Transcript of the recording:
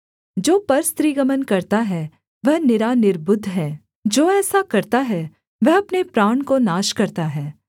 जो परस्त्रीगमन करता है वह निरा निर्बुद्ध है जो ऐसा करता है वह अपने प्राण को नाश करता है